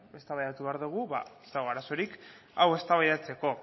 eztabaidatu behar dugu ez dago arazorik hau eztabaidatzeko